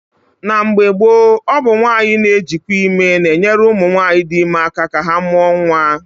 Na mgbe gboo, ọ bụ nwaanyị na-ejikwa ime na-enyere ụmụ nwaanyị dị ime aka ka ha mụọ nwa.